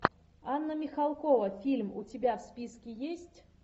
анна михалкова фильм у тебя в списке есть